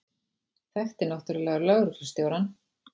Þekkti náttúrlega lögreglustjórann.